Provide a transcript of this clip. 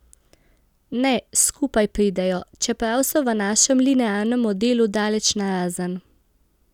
Ne, skupaj pridejo, čeprav so v našem linearnem modelu daleč narazen.